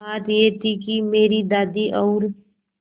बात यह थी कि मेरी दादी और